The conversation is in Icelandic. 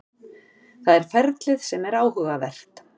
Það er ferlið sem er áhugavert.